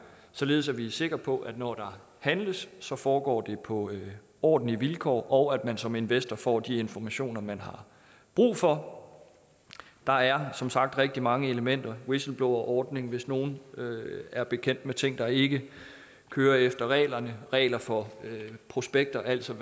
således at vi er sikre på at når der handles så foregår det på ordentlige vilkår og at man som investor får de informationer man har brug for der er som sagt rigtig mange elementer whistleblowerordning hvis nogle er bekendt med ting der ikke kører efter reglerne regler for prospekter altså